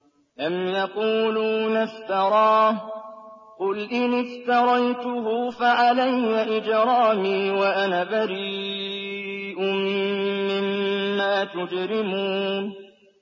أَمْ يَقُولُونَ افْتَرَاهُ ۖ قُلْ إِنِ افْتَرَيْتُهُ فَعَلَيَّ إِجْرَامِي وَأَنَا بَرِيءٌ مِّمَّا تُجْرِمُونَ